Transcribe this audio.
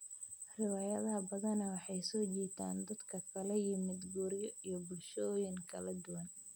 Riwaayadaha badanaa waxay soo jiitaan dad ka kala yimid guryo iyo bulshooyin kala duwan.